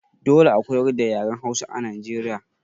Dole a koyar da yaren Hausa a Nijeriya.